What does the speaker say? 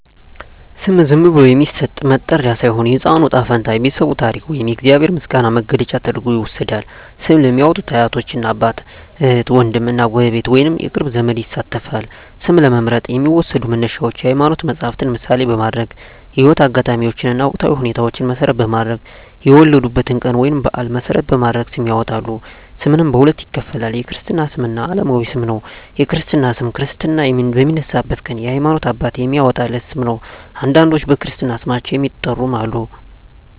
ስም ዝም ብሎ የሚሰጥ መጠሪያ ሳይሆን፣ የሕፃኑ ዕጣ ፈንታ፣ የቤተሰቡ ታሪክ ወይም የእግዚአብሔር ምስጋና መግለጫ ተደርጎ ይወሰዳል። ስም ለሚያዎጡት አያቶች፣ እናት አባት፣ እህት ዎንድም እና ጎረቤት ወይንም የቅርብ ዘመድ ይሳተፋል። ስም ለመምረጥ የሚዎሰዱ መነሻዎች የሀይማኖት መፀሀፍትን ምሳሌ በማድረግ፣ የህይወት አጋጣሚዎችን እና ወቅታዊ ሁኔታዎችን መሰረት በማድረግ፣ የወለዱበትን ቀን ወይንም በአል መሰረት በማድረግ ስም ያወጣሉ። ስምንም በሁለት ይከፈላል። የክርስትና ስም እና አለማዊ ስም ነው። የክርስትና ስም ክርስትና በሚነሳበት ቀን የሀይማኖት አባት የሚያዎጣለት ስም ነው። አንዳንዶች በክርስትና ስማቸው የሚጠሩም አሉ።